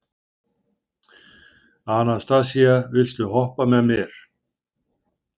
Anastasía, viltu hoppa með mér?